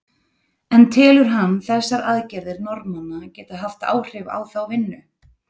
En telur hann þessar aðgerðir Norðmanna geta haft áhrif á þá vinnu?